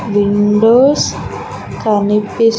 Windows కనిపిస్--